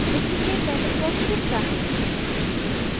duplicate dialog box दिखता है